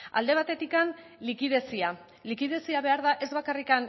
alde batetik likidezia likidezia ez bakarrik